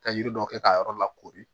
Ka yiri dɔ kɛ k'a yɔrɔ lakori